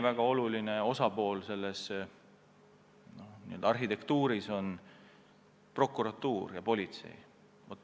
Väga olulised osalised selles struktuuris on ka prokuratuur ja politsei.